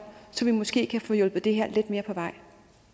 så vi måske kan få hjulpet det her lidt mere på vej